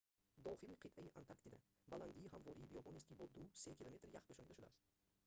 дохили қитъаи антарктида баландии ҳамвори биёбонест ки бо 2-3 км ях пӯшонда шудааст